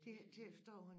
Det ikke til at forstå